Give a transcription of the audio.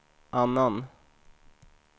annan